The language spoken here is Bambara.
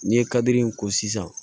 N'i ye kadiri in ko sisan